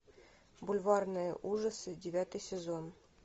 бульварные ужасы девятый сезон